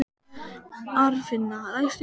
Arnfinna, læstu útidyrunum.